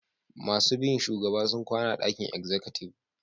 Masun bi shugaban sun kwana a'dakin exikutiv.